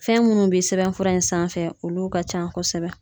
Fɛn minnu bɛ sɛbɛnfura in sanfɛ olu ka ca kosɛbɛ.